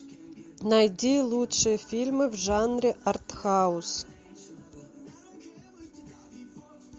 найди лучшие фильмы в жанре артхаус